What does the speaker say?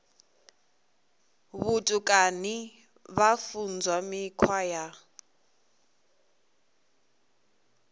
vhutukani vha funzwa mikhwa ya